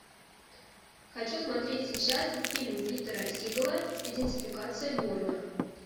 хочу смотреть сейчас фильм питера сигала идентификация борна